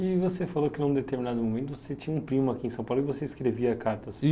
E você falou que em um determinado momento você tinha um primo aqui em São Paulo e você escrevia cartas